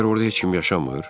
Məgər orda heç kim yaşamır?